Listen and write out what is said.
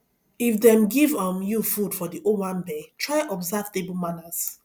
if dem give um you food for di owanbe try observe table manners